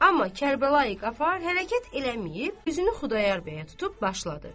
Amma Kərbəlayi Qafar hərəkət eləməyib, üzünü Xudayar bəyə tutub başladı.